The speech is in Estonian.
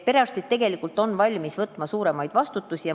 Perearstid on tegelikult valmis võtma suuremat vastutust.